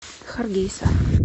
харгейса